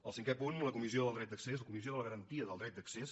el cinquè punt la comissió del dret d’accés la comissió de la garantia del dret d’accés